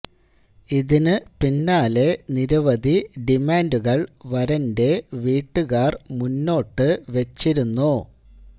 ഇതിന് പിന്നാലെ നിരവധി ഡിമാന്റുകൾ വരന്റെ വീട്ടുകാർ മുന്നോട്ട് വെച്ചിരുന്നു